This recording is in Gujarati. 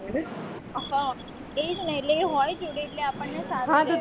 હોય હ એજ ને એ હોય જોડે એટલે આપણે ને સારું પડે